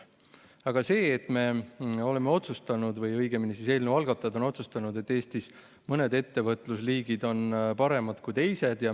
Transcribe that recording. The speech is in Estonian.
Aga nüüd me oleme otsustanud või õigemini, eelnõu algatajad on otsustanud, et Eestis mõned ettevõtlusliigid on paremad kui teised.